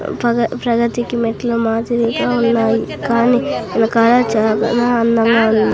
పగ ప్రగతికి మెట్లు మాదిరిగా ఉన్నాయి కానీ --